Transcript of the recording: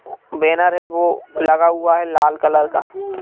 banner है वह लगा हुआ है लाल कलर का --